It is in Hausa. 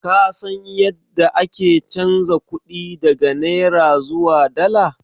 Ka san yadda ake chanza kuɗi daga naira zuwa dala?